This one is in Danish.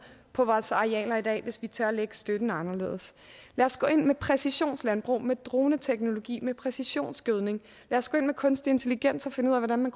på vores arealer i dag hvis vi tør at lægge støtten anderledes lad os gå ind med præcisionslandbrug med droneteknologi med præcisionsgødning lad os gå ind med kunstig intelligens og finde ud af hvordan man